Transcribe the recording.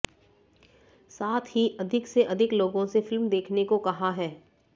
साथ ही अधिक से अधिक लोगों से फिल्म देखने को कहा है